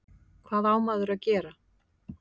Hvað á maður að gera?